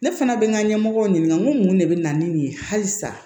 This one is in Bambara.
Ne fana bɛ n ka ɲɛmɔgɔw ɲininka ko mun de bɛ na ni nin ye halisa